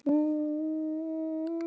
Vilja þeir ganga inn í Evrópusambandið?